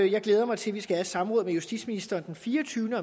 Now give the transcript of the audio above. jeg glæder mig til at vi skal have et samråd med justitsministeren den fireogtyvende